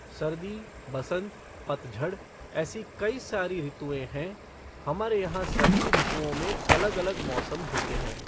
सर्दी, बसंत, पतझड़ ऐसी कई सारी ऋतुएं हैं, हमारे यहां सभी ऋतुओं में अलग अलग मौसम होते हैं